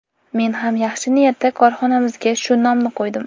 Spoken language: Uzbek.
Men ham yaxshi niyatda korxonamizga shu nomni qo‘ydim.